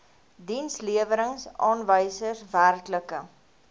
dienslewerings aanwysers werklike